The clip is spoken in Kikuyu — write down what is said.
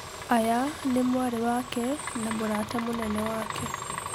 Aya ni mwarĩ wake na-mũrata munene wake.